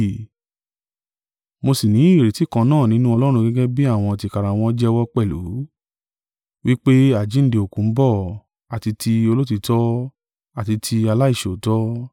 mo sí ní ìrètí kan náà nínú Ọlọ́run gẹ́gẹ́ bí àwọn tìkára wọn jẹ́wọ́ pẹ̀lú, wí pé àjíǹde òkú ń bọ̀, àti tí olóòtítọ́, àti tí aláìṣòótọ́.